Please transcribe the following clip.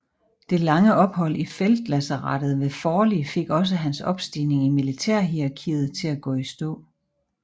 Det lange ophold i feltlazarettet ved Forli fik også hans opstigning i militærhierarkiet til at gå i stå